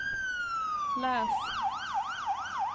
läs